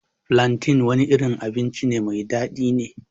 flantain wani irin abinci mai daɗi ne.